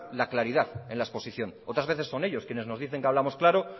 la claridad en la exposición otras veces son ellos quienes nos dicen que hablamos claro